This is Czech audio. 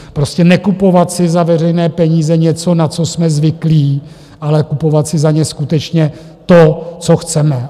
Prostě nekupovat si za veřejné peníze něco, na co jsme zvyklí, ale kupovat si za ně skutečně to, co chceme.